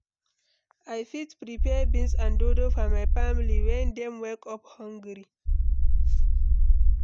I fit prepare beans and dodo for my family when dem wake up hungry.